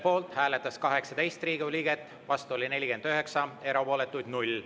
Poolt hääletas 18 Riigikogu liiget, vastu oli 49, erapooletuid 0.